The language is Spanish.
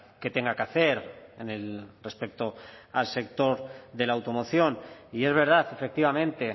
que tenga que hacer en el respecto al sector de la automoción y es verdad efectivamente